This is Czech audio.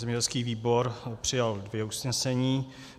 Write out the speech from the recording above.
Zemědělský výbor přijal dvě usnesení.